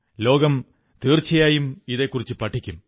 ലോകം തീർച്ചയായും ഇതെക്കുറിച്ചു പഠിക്കും